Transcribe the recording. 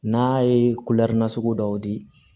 N'a ye nasugu dɔw di